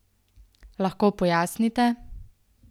Lahko pojasnite?